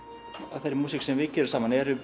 af þeirri músík sem við gerum saman eru